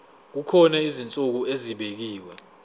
kukhona izinsuku ezibekiwe